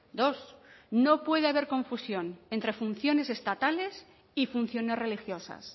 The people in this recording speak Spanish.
dos no puede haber confusión entre funciones estatales y funciones religiosas